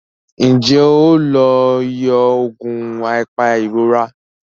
Njé o ló yíò oògùn apairora?